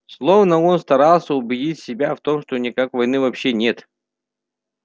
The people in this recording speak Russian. словно он старался убедить себя в том что никак войны вообще нет